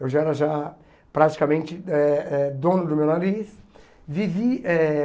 Eu já era já praticamente eh eh dono do meu nariz. Vivi eh